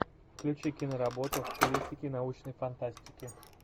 включи киноработу в стилистике научной фантастики